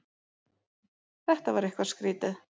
Þetta var eitthvað skrýtið.